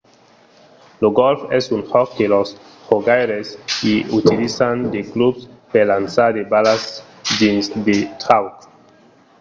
lo gòlf es un jòc que los jogaires i utilizan de clubs per lançar de balas dins de traucs